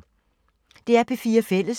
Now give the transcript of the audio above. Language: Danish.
DR P4 Fælles